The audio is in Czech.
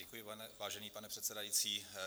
Děkuji, vážený pane předsedající.